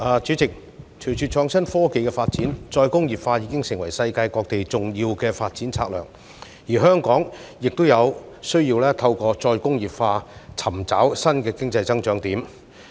主席，隨着創新科技的發展，再工業化已經成為世界各地重要的發展策略，而香港亦有需要透過再工業化，尋找新的經濟增長點。